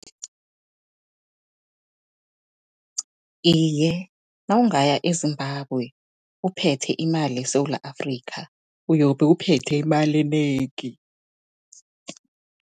Iye, nawungaya eZimbabwe, uphethe imali yeSewula Afrika, uyobe uphethe imali enengi.